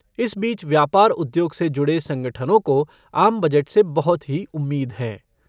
इस बीच व्यापार उद्योग से जुड़े संगठनों को आम बजट से बहुत ही उम्मीद हैं।